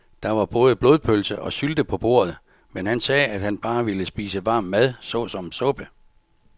Der var både blodpølse og sylte på bordet, men han sagde, at han bare ville spise varm mad såsom suppe.